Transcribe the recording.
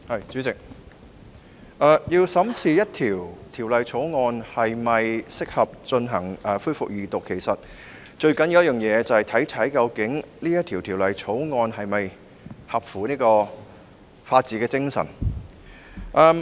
主席，要審視一項法案是否適合恢復二讀辯論，其實最重要的一點，就是考慮該法案是否符合法治精神。